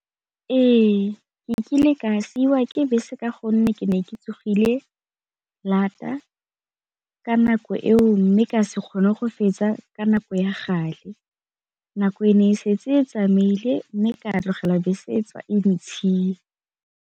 Ee, ke kile ka siiwa ke bese ka gonne ke ne ke tsogile ka nako eo, mme ka se kgone go fetsa ka nako ya gale nako e ne e setse e tsamaile mme ka tlogela bese e ntshia.